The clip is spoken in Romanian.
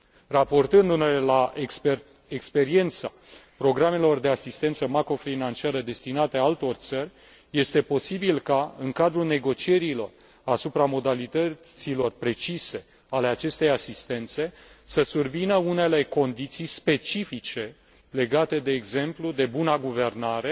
Raportându ne la experiența programelor de asistență macrofinanciară destinate altor țări, este posibil ca în cadrul negocierilor asupra modalităților precise ale acestei asistențe să survină unele condiții specifice legate, de exemplu, de buna guvernare,